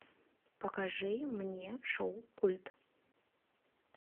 покажи мне шоу культ